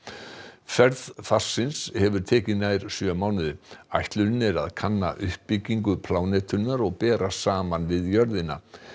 ferð hefur tekið nær sjö mánuði ætlunin er að kanna uppbyggingu plánetunnar og bera saman við jörðina